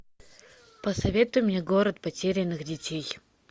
посоветуй мне город потерянных детей